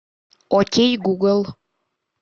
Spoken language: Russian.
окей гугл